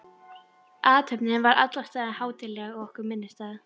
Athöfnin var í alla staði hátíðleg og okkur minnisstæð.